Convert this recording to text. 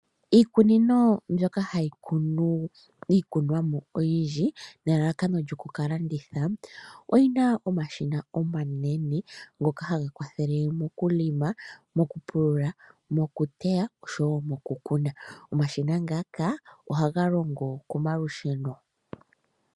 Iikunino mbyoka hayi kunu okunumwa oyindji, nelalakano lyoku ka landitha, oyina omashina omanene ngoka haga kwathele moku longa, okulima moku teya oshowo moku kuna. Omashina ngaka ohaga longo komalusheno.